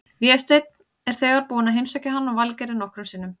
Vésteinn er þegar búinn að heimsækja hann og Valgerði nokkrum sinnum.